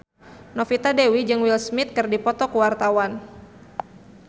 Novita Dewi jeung Will Smith keur dipoto ku wartawan